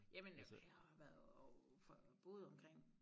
Jamen øh jeg har været og for boet omkring